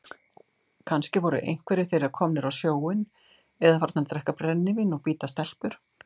Kannski voru einhverjir þeirra komnir á sjóinn eða farnir að drekka brennivín og bíta stelpur.